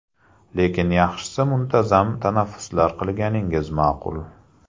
Lekin, yaxshisi muntazam tanaffuslar qilganingiz ma’qul.